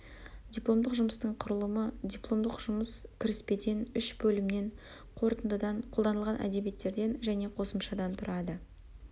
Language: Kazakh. дипломдық жұмыстың құрылымы дипломдық жұмыс кіріспеден үш бөлімнен қорытындыдан қолданылған әдебиеттерден және қосымшадан тұрады